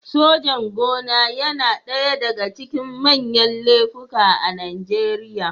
Sojan-gona yana ɗaya daga cikin manyan laifuka a Najeriya.